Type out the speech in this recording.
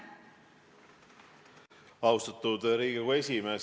Austatud Riigikogu esimees!